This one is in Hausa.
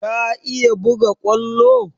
Ka iya buga kwallo?